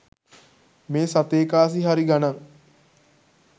මේ සතේ කාසි හරි ගණන්.